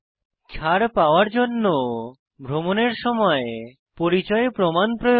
ছাড় পাওয়ার জন্য ভ্রমণের সময় প্রমাণ প্রয়োজন